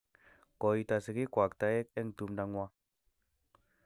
Ko ito sigik kwak taek eng' tumndo ng'wa.